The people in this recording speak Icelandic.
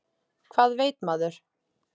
Hvað veit maður?